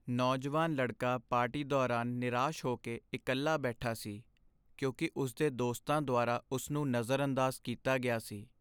ਨੌਜਵਾਨ ਲੜਕਾ ਪਾਰਟੀ ਦੌਰਾਨ ਨਿਰਾਸ਼ ਹੋ ਕੇ ਇਕੱਲਾ ਬੈਠਾ ਸੀ ਕਿਉਂਕਿ ਉਸ ਦੇ ਦੋਸਤਾਂ ਦੁਆਰਾ ਉਸ ਨੂੰ ਨਜ਼ਰਅੰਦਾਜ਼ ਕੀਤਾ ਗਿਆ ਸੀ।